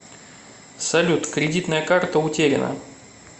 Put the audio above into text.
салют кредитная карта утеряна